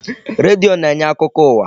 Redio na-enye akụkọ ụwa.